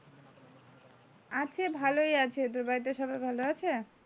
আছে ভালই আছে তোর বাড়িতে সবাই ভালো আছে?